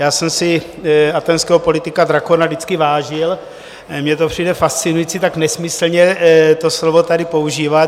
Já jsem si athénského politika Drakóna vždycky vážil, mně to přijde fascinující tak nesmyslně to slovo tady používat.